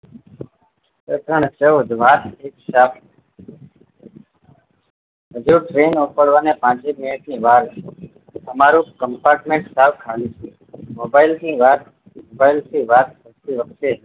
બધાં ને કહો કે વાર છે હજુ train ઉપાડવા ને પાંચ એક મિનિટ ની વાર છે તમારું compartment સાવ ખાલી છે mobile થી વાત mobile થી વાત કરતી વખતે